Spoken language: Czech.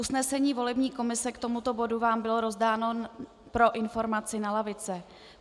Usnesení volební komise k tomuto bodu vám bylo rozdáno pro informaci na lavice.